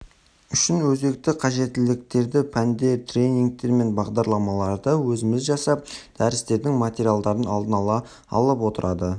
үшін өзекті қажеттіліктерді пәндер тренингтер мен бағдарламаларды өзіміз жасап дәрістердің материалдарын алдын ала алып оларды